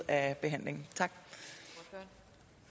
at have et